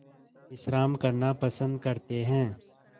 विश्राम करना पसंद करते हैं